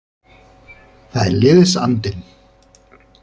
Það er liðsandinn.